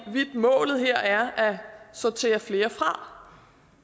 målet her er at sortere flere færre